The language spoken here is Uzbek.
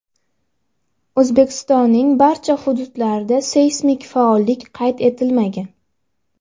O‘zbekistonning boshqa hududlarida seysmik faollik qayd etilmagan.